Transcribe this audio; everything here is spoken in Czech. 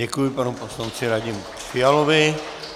Děkuji panu poslanci Radimu Fialovi.